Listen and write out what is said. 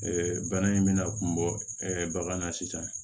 bana in bɛna kun bɔ bagan na sisan